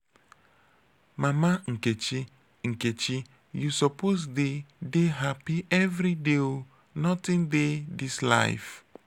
mama nkechi nkechi you suppose dey dey hapi everyday o nothing dey dis life.